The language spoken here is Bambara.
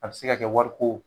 A bɛ se ka kɛ wari ko